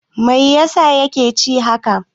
Mai yasa ya ke ci haka?